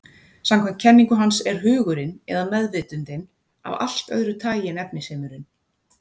Samkvæmt kenningu hans er hugurinn, eða meðvitundin, af allt öðru tagi en efnisheimurinn.